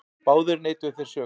Báðir neituðu þeir sök.